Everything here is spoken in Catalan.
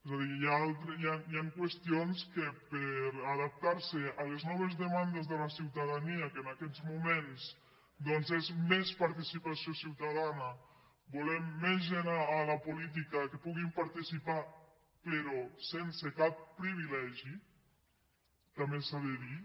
és a dir hi han qüestions que per adaptar·se a les noves demandes de la ciutadania que en aquests moments doncs és més participació ciutadana vo·lem més gent a la política que puguin participar pe·rò sense cap privilegi també s’ha de dir